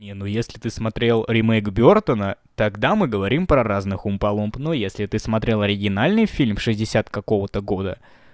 не ну если ты смотрел ремейк бёртона тогда мы говорим про разных умпалумп но если ты смотрел оригинальный фильм шестьдесят какого-то года